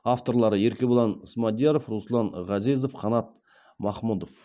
авторлары еркебұлан смадияров руслан ғазезов қанат махмұдов